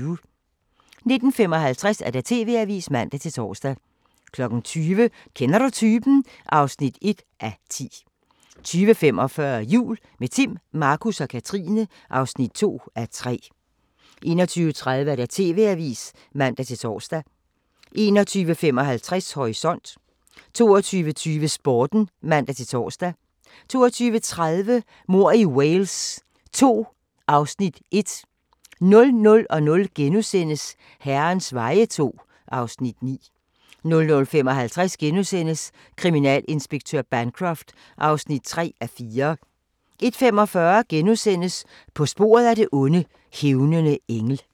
19:55: TV-avisen (man-tor) 20:00: Kender du typen? (1:10) 20:45: Jul – med Timm, Markus og Katrine (2:3) 21:30: TV-avisen (man-tor) 21:55: Horisont 22:20: Sporten (man-tor) 22:30: Mord i Wales II (Afs. 1) 00:00: Herrens veje II (Afs. 9)* 00:55: Kriminalinspektør Bancroft (3:4)* 01:45: På sporet af det onde: Hævnende engel *